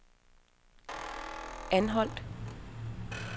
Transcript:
Anholt